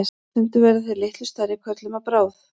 stundum verða þeir litlu stærri körlum að bráð